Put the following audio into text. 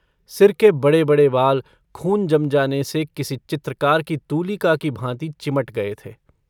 सिर के बड़ेबड़े बाल खून जम जाने से किसी चित्रकार की तूलिका की भाँति चिमट गये थे।